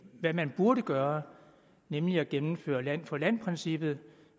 hvad man burde gøre nemlig gennemføre land for land princippet